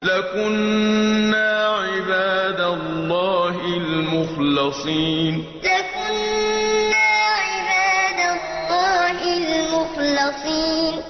لَكُنَّا عِبَادَ اللَّهِ الْمُخْلَصِينَ لَكُنَّا عِبَادَ اللَّهِ الْمُخْلَصِينَ